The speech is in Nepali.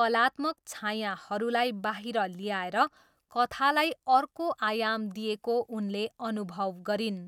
कलात्मक छायाहरूलाई बाहिर ल्याएर कथालाई अर्को आयाम दिएको उनले अनुभव गरिन्।